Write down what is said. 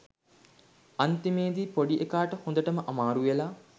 අන්තිමේදී පොඩි එකාට හොඳටම අමාරු වෙලා